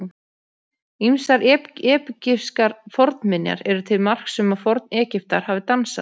Ýmsar egypskar fornminjar eru til marks um að Forn-Egyptar hafi dansað.